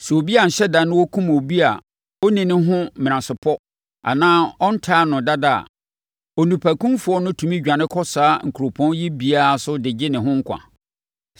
Sɛ obi anhyɛ da na ɔkum obi a ɔnni ne ho menasepɔ anaa ɔntan no dada a, onipakumfoɔ no tumi dwane kɔ saa nkuropɔn yi biara so de gye ne ho nkwa.